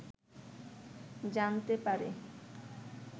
জানতে পারে